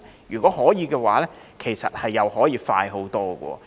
如果可以，其實又可以快很多。